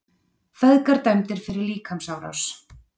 Feðgar dæmdir fyrir líkamsárás